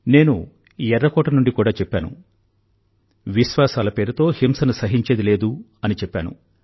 నేను ఎర్ర కోట నుండి కూడా చెప్పాను విశ్వాసాల పేరుతో హింసను సహించేది లేదు అని చెప్పాను